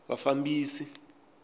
vafambisi